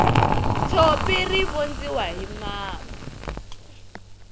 tshopi ri vondziwa hi mapa